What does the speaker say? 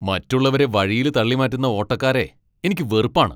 മറ്റുള്ളവരെ വഴിയിൽ തള്ളിമാറ്റുന്ന ഓട്ടക്കാരെ എനിക്ക് വെറുപ്പാണ്.